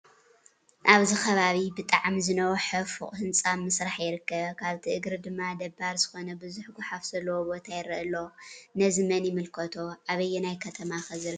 ኣብዚ ከባቢ ብጣዕሚ ዝነውሐ ፎቕ ህንፃ ኣብ ምስራሕ ይርከብ ፣ ኣብቲ እግሪ ድማ ደባሪ ዝኾነ ብዙሕ ጓሓፍ ዘለዎ ቦታ ይረአ ኣሎ፡፡ ነዚ መን ይምልከቶ? ኣበየና ከተማ ከ ዝርከብ ይኸውን?